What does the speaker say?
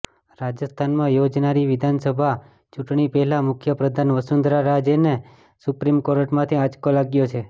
રાજસ્થાનમાં યોજાનારી વિધાનસભા ચૂંટણી પહેલા મુખ્યપ્રધાન વસુંધરા રાજેને સુપ્રીમ કોર્ટમાંથી આંચકો લાગ્યો છે